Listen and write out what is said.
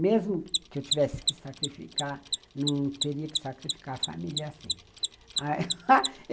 Mesmo que eu tivesse que sacrificar, não teria que sacrificar a família assim